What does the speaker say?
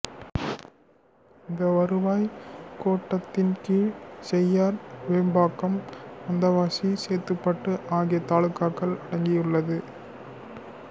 இந்த வருவாய் கோட்டத்தின் கீழ் செய்யார் வெம்பாக்கம் வந்தவாசி சேத்துப்பட்டு ஆகிய தாலுகாக்கள் அடங்கியுள்ளது